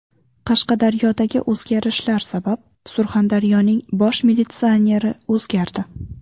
Qashqadaryodagi o‘zgarishlar sabab, Surxondaryoning bosh militsioneri o‘zgardi.